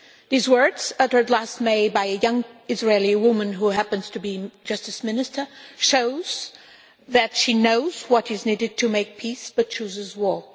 These words uttered last May by a young Israeli woman, who happens to be Justice Minister, shows that she knows what is needed to make peace, but chooses war.